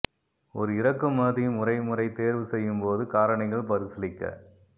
ஒரு இறக்குமதி முறை முறை தேர்வு செய்யும் போது காரணிகள் பரிசீலிக்க